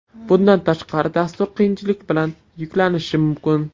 Bundan tashqari, dastur qiyinchilik bilan yuklanishi mumkin.